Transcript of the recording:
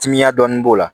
Timiya dɔɔnin b'o la